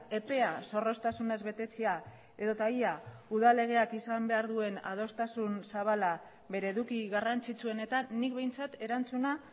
epea zorroztasunez betetzea edota ia udal legeak izan behar duen adostasun zabala bere eduki garrantzitsuenetan nik behintzat erantzuna